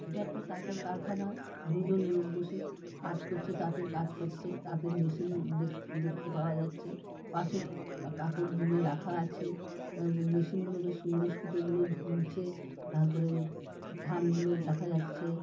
ইটা একটা তাঁতের কারখানা দুজন লোক বসে কাজ করছে তাঁতের কাজ করছে। তাঁতের মেশিন দেখতে পাওয়া যাচ্ছে পাশে কাপড় বুনে রাখা আছে। আ মেশিন বেশ সুন্দর। সুতো গুলো ঝুলছে । তারপর থান গুলো দেখা যাচ্ছে।